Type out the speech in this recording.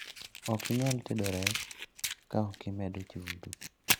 okinyal tedo rech ka okimedo chumbi